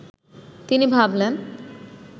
তিনি ভাবলেন